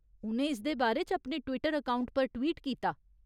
उ'नें इसदे बारे च अपने ट्‌वीटर अकाउंट पर ट्‌वीट कीता।